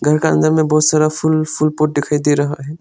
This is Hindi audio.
घर के अंदर में में बहुत सारा फूल फूल पॉट दिखाई दे रहा है।